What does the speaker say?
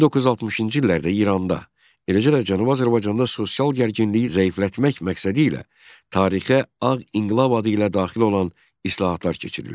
1960-cı illərdə İranda, eləcə də Cənubi Azərbaycanda sosial gərginliyi zəiflətmək məqsədi ilə tarixə Ağ İnqilab adı ilə daxil olan islahatlar keçirildi.